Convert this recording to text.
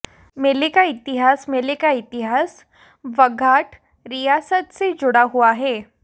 मेले का इतिहास मेले का इतिहास बघाट रियासत से जुड़ा हुआ है